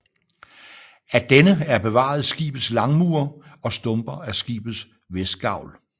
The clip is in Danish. Af denne er bevaret skibets langmure og stumper af skibets vestgavl